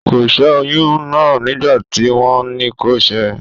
Kò sẹ́ oyún náà nígbà tí wọ́n ní kó sẹ́ ẹ